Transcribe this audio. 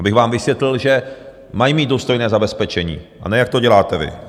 Abych vám vysvětlil, že mají mít důstojné zabezpečení, a ne jak to děláte vy.